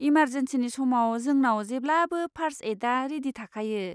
इमारजेन्सिनि समाव जोंनाव जेब्लाबो फार्स्ट एइडआ रेडि थाखायो।